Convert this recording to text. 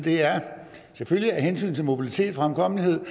er selvfølgelig af hensyn til mobilitet og fremkommelighed